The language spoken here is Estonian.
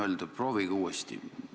Härra Mölder, proovige uuesti!